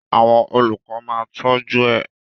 Àwọn olùkọ ma tọju ẹ.